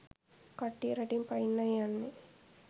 කට්ටිය රටින් පනින්නයි යන්නෙ